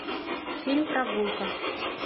фильм прогулка